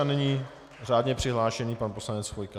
A nyní řádně přihlášený pan poslanec Chvojka.